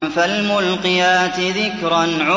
فَالْمُلْقِيَاتِ ذِكْرًا